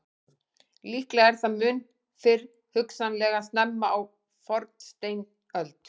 Líklega er það mun fyrr, hugsanlega snemma á fornsteinöld.